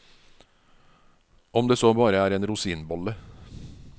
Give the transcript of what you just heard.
Om det så bare er en rosinbolle.